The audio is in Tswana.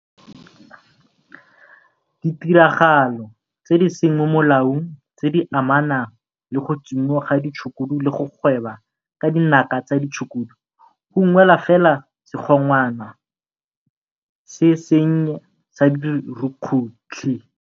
Ditiragalo tse di seng mo molaong tse di amanang le go tsomiwa ga ditshukudu le go gweba ka dinaka tsa ditshukudu go ungwela fela segongwana se sennye sa dirukhutlhi.